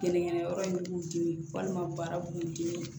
Gɛnɛgɛnɛyɔrɔ in b'u dimi walima baaraw b'u dimi